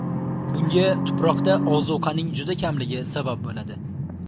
Bunga tuproqda ozuqaning juda kamligi sabab bo‘ladi.